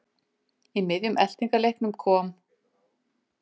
Í miðjum eltingaleiknum kom